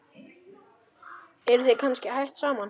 Eruð þið kannski hætt saman?